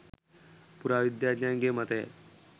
පුරාවිද්‍යාඥයන්ගේ මතයයි.